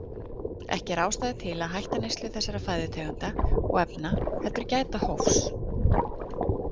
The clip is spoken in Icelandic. Ekki er ástæða til að hætta neyslu þessara fæðutegunda og efna heldur gæta hófs.